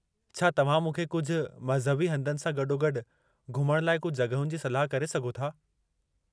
छा तव्हां मूंखे कुझु मज़हबी हंधनि सां गॾोगॾु घुमण लाइ कुझु जॻहियुनि जी सलाह करे सघो था?